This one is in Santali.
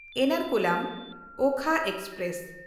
ᱮᱨᱱᱟᱠᱩᱞᱟᱢ–ᱳᱠᱷᱟ ᱮᱠᱥᱯᱨᱮᱥ